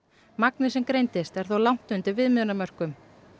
magnið sem greindist er þó langt undir viðmiðunarmörkum